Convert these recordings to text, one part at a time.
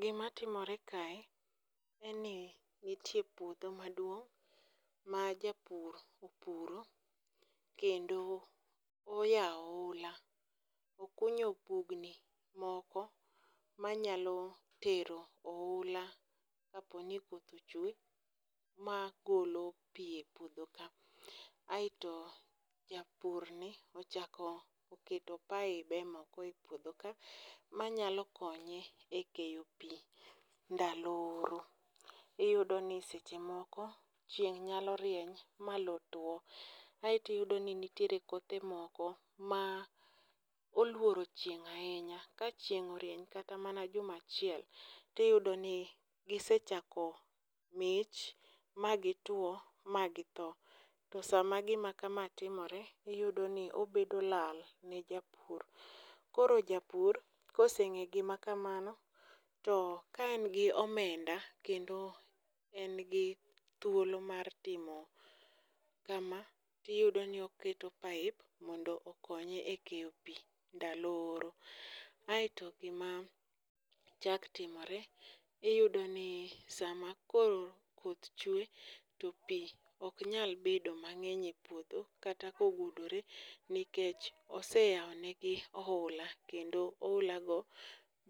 Gima timore kae, en ni nitie puodho ma duong' ma japur opuro, kendo oyao ohula, okunyo bugni moko manyalo tero oula ka po ni koth ochwe magolo pi e puodho ka. Aeto japur ni ochako oketo pibe moko e puodho ka manyalo keonye e koyo pi ndalo ooro. Iyudo ni seche moko chieng' nyalo rieny ma loo tuo aeto iyudo ni nitie kothe moko ma oluoro chieng' ahinya, ka chieng' orieny kata mana juma achiel to iyudo ni gisechako mich ma gi tuo magi thoo. To sama gima ka ma timore, iyudo ni obedo lal ne japur koro japur kosengeyo gima kamano, to ka en gi omenda kendo en gi thuolo mar timo kama, to iyudo ni oketo pipe mondo okonye e keyo pi e ndalo ooro. Aeto gima chak timore iyudo ni sama koro koth chwee to pii ok nyal bedo mang'eny e puodho kata ka ogudore nikech oseyawo ne gi ohula kendo ohula go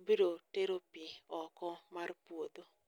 biro tero pi oko mar puodho.